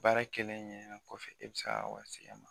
Baara kɛlen ɲɛlen kɔfɛ e bɛ se ka k'a wari segin a ma